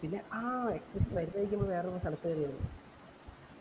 പിന്നെ ആഹ് luggage ഒക്കെ വേറെ വേറെ സ്ഥലത്തായിരുന്നു